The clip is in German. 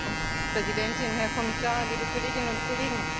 Frau Präsidentin, Herr Kommissar, liebe Kolleginnen und Kollegen!